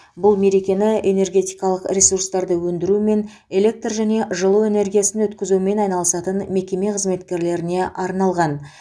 бұл мерекені энергетикалық ресурстарды өндірумен электр және жылу энергиясын өткізумен айналысатын мекеме қызметкерлеріне арналған